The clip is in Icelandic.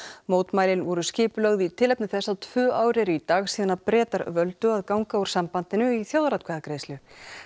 mótmælin voru skipulögð í tilefni þess að tvö ár eru í dag síðan Bretar völdu að ganga úr sambandinu í þjóðaratkvæðagreiðslu